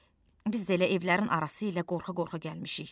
Biz də elə evlərin arası ilə qorxa-qorxa gəlmişik.